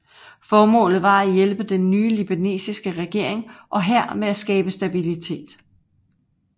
Formålet var at hjælpe den nye libanesiske regering og hær med at skabe stabilitet